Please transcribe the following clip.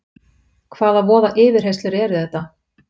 Hvaða voða yfirheyrslur eru þetta!